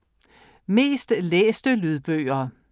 Mest læste Lydbøger